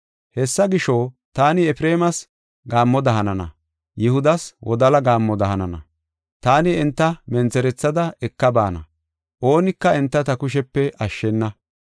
Hessa gisho, taani Efreemas gaammoda hanana; Yihudas wodala gaammoda hanana. Taani enta mentherethada eka baana; oonika enta ta kushepe ashshena.